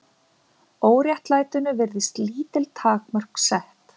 Óréttlætinu virðast lítil takmörk sett